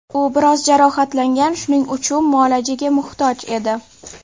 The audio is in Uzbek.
U biroz jarohatlangan, shuning uchun muolajaga muhtoj edi.